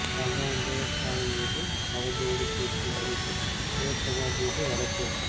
சம்பவம் தேவஸ்தானம் மீது அவதூறு பேச்சு நடிகர் சிவகுமார் மீது வழக்கு